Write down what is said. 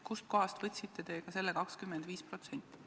Kust kohast te võtsite selle 25%?